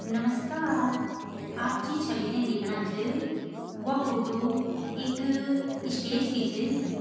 नमस्कार आप जीं छवि ते देखणा छ वा फोटो इक स्टेज की छ।